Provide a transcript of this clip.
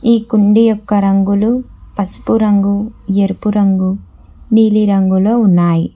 ఈ కుండీ యొక్క రంగులు పసుపు రంగు ఎరుపు రంగు నీలి రంగులో ఉన్నాయి